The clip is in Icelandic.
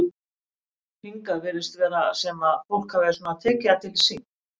Hingað virðist vera sem að fólk hafi svona tekið það til sín?